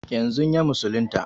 Yanzun ya musulunta